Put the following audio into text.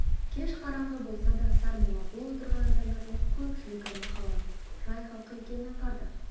кеш қараңғы болса да сармолла бұл отырған адамдардың көпшілігі махалланың жай халқы екенін аңғарды